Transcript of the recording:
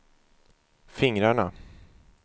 fingrarna